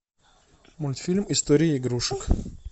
мультфильм история игрушек